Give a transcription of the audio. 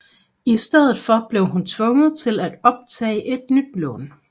I stedet for blev hun tvunget til at optage et nyt lån